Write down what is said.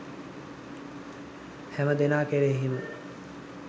හැමදෙනා කෙරෙහිම